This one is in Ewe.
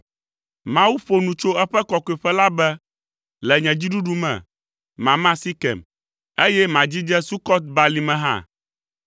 Mawu ƒo nu tso eƒe kɔkɔeƒe la be; “Le dziɖuɖu me, mama Sekem, eye madzidze Sukɔt Balime hã.